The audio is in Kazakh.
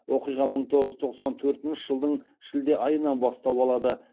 оқиға мың тоғыз жүз тоқсан төртінші жылдың шілде айынан бастау алады